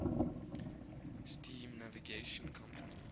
steam navigation company